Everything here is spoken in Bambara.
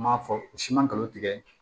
Ma fɔ siman galon tigɛ